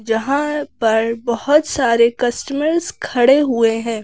जहां पर बहुत सारे कस्टमर्स खड़े हुए हैं।